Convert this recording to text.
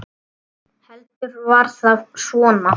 Heldur var það svona!